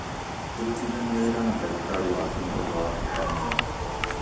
Kũrutithania wĩra na ndagĩtarĩ waaku nĩ ũndũ wa bata mũno.